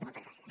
moltes gràcies